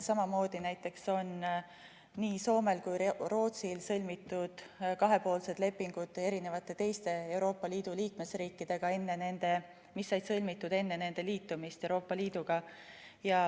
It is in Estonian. Samamoodi näiteks on nii Soomel kui ka Rootsil kahepoolsed lepingud teiste Euroopa Liidu liikmesriikidega, mis sõlmiti enne nende liitumist Euroopa Liiduga.